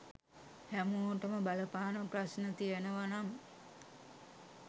හැමෝටම බලපාන ප්‍රශ්න තියෙනව නම්